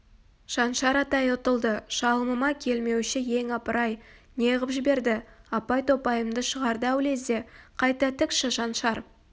шаншар атай ұтылды шалымыма келмеуші ең апырай не ғып жіберді апай-топайымды шығарды-ау лезде қайта тікші шаншар